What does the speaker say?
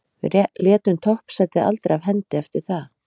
Við létum toppsætið aldrei af hendi eftir það.